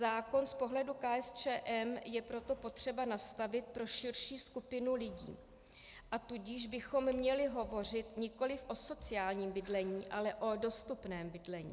Zákon z pohledu KSČM je proto potřeba nastavit pro širší skupinu lidí, a tudíž bychom měli hovořit nikoliv o sociálním bydlení, ale o dostupném bydlení.